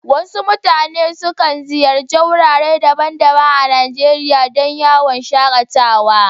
Waɗansu mutane sukan ziyarci wurare daban-daban a Najeriya don yawon shaƙatawa